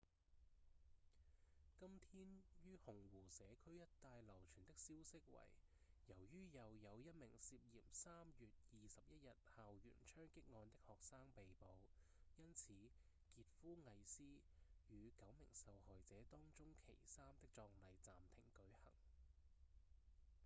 今天於紅湖社區一帶流傳的消息為由於又有一名涉嫌3月21日校園槍擊案的學生被捕因此傑夫·魏斯與九名受害者當中其三的葬禮暫停舉行